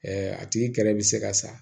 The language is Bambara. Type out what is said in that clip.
a tigi kɛrɛ bɛ se ka sa